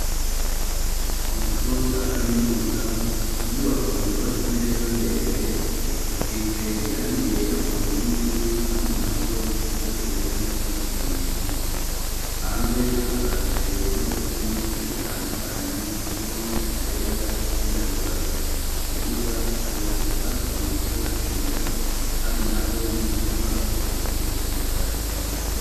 Inyubako yubatse neza ndende isize irangi ryera ku nkingi ,ahandi naho n'iranga irisa n'icatsi kibisi ,hanze hahagaze imodoka nyinshi zitandukanye ,harimwo izera ,izirabura ,mu kibuga hari utwatsi duto tukimera ,handi naho ni uduti bateye two gushariza ikigo.